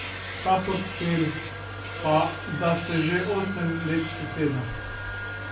Ta portfelj pa da se že osem let seseda.